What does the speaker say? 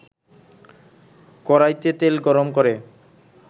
কড়াইতে তেল গরম করে